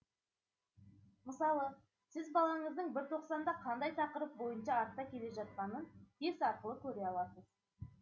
мысалы сіз балаңыздың бір тоқсанда қандай тақырып бойынша артта келе жатқанын тест арқылы көре аласыз